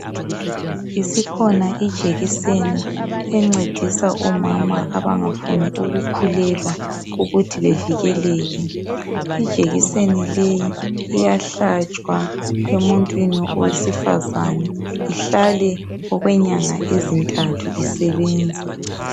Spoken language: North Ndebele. Isikhona ijekiseni encedisa omama abangafuni ukukhulelwa ukuthi bevikeleke ijekiseni leyi iyahlatshwa emuntwini wesifazana ihlale okwenyanga ezintathu isebenza